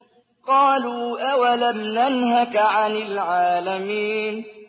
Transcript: قَالُوا أَوَلَمْ نَنْهَكَ عَنِ الْعَالَمِينَ